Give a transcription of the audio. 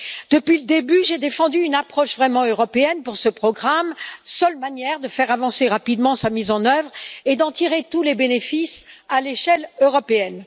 Depuis le début, j'ai défendu une approche vraiment européenne pour ce programme, seule manière de faire avancer rapidement sa mise en œuvre et d'en tirer tous les bénéfices à l'échelle européenne.